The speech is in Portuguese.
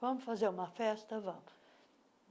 Vamos fazer uma festa, vamos.